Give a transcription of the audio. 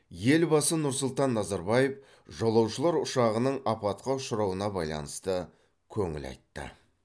елбасы нұр сұлтан назарбаев жолаушылар ұшағының апатқа ұшырауына байланысты көңіл айтты